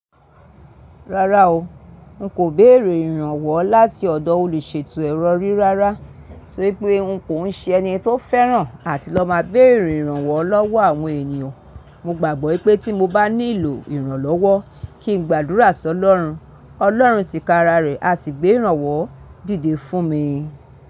Rárá o, n kò béèrè ìrànwọ́ láti ọ̀dọ̀ olùṣètò ẹrọ rí rárá, torípé n kò ń ṣe ẹni tó fẹ́ràn àti lọ máa béèrè ìrànwọ́ lọ́wọ́ àwọn ènìyàn. Mo gbàgbọ́ pé tí mo bá nílò ìrànlọ́wọ́ kí n gbàdúrà sọ́lọ́run. Ọlọ́run ti kára rẹ̀, a sì gbé ìrànwọ́ dìde fún mi.